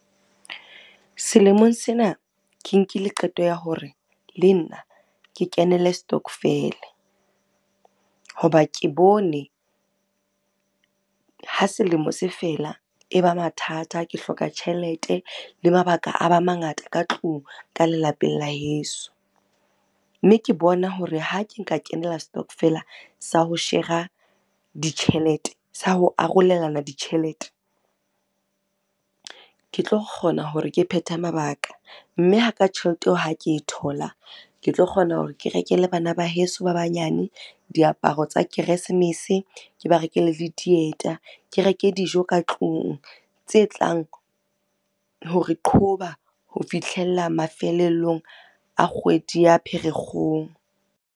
Selemong sena ke nkile qeto ya hore le nna ke kenele stokvel. Ho ba ke bone, ha selemo se fela e ba mathata, ke hloka tjhelete le mabaka a ba mangata ka tlung, ka lelapeng la heso. Mme ke bona hore ha ke nka kenela stokvel sa ho shera ditjhelete, sa ho arolelana ditjhelete. Ke tlo kgona hore ke phethe mabaka mme haka tjhelete eo ha ke e thola. Ke tlo kgona hore ke rekele bana ba heso ba banyane diaparo tsa keresemese, ke ba rekele le dieta, ke reke dijo ka tlung, tse tlang hore qhoba ho fihlella mafelellong a kgwedi ya Pherekgong,